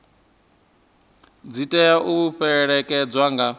dzi tea u fhelekedzwa nga